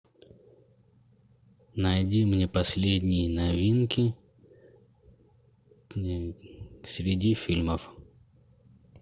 найди мне последние новинки среди фильмов